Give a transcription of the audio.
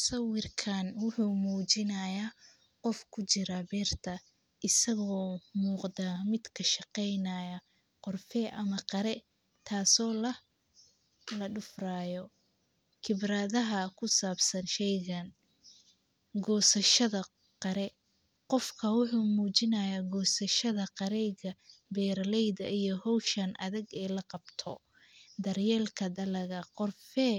Sawirkan wuxuu mujinayaa qoof ku jiraa beerta, isago muqda miid ka shaqeynayo qorfee ama qiire, taso ladufraya, khibradaha kusabsan sheygan, gosashada qiiree, qofka wuxuu mujinayaa gosashadaa qiireyga beeraleyda iyo howshan aadag ee laqabto, daryelka qorfee